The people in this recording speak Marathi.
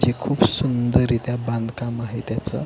हे खूप सुंदर रित्या बांधकाम आहे त्याचं.